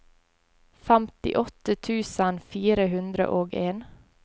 femtiåtte tusen fire hundre og en